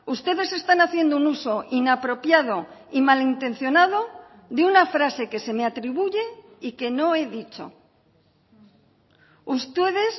ustedes están haciendo un uso inapropiado y malintencionado de una frase que se me atribuye y que no he dicho ustedes